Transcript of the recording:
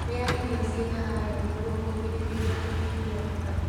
rĩa irio ciĩna iron nĩguo kũgirĩrĩrĩa kunyihia thakame